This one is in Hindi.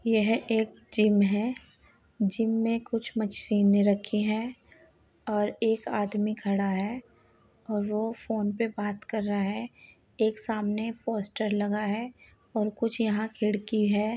यह एक जिम है। जिम में कुछ मछीने रखी हैं और एक आदमी खड़ा है और वो फोन पे बात कर रहा है। एक सामने पोस्टर लगा है और कुछ यहाँ खिड़की है।